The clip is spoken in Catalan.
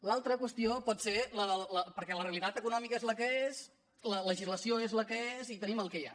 l’altra qüestió pot ser perquè la realitat econòmica és la que és la legislació és la que és i tenim el que hi ha